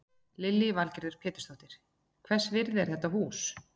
Lillý Valgerður Pétursdóttir: Hvers virði er þetta hús?